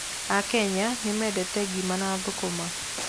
Akenya nĩ mendete ngima na thũkũma.